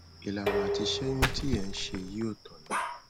ìlànà àti ṣẹyun tí ẹ ń ṣe yìí ò tọnà